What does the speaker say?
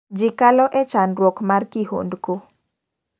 Ji kalo e chandruok mar kihondko.